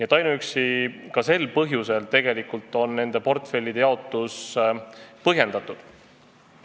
Juba ainuüksi sel põhjusel on nende portfellide jagamine põhjendatud.